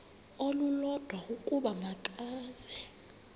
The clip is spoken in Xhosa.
olulodwa ukuba makeze